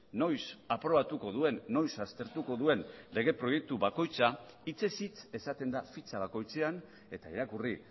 noiz aprobatuko duen noiz aztertuko duen lege proiektu bakoitza hitzez hitz esaten da fitxa bakoitzean eta irakurri